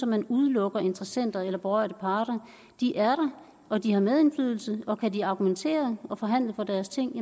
man udelukker interessenter eller berørte parter de er der og de har medindflydelse og kan de argumentere og forhandle om deres ting